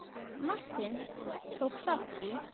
Martin, tók þátt í.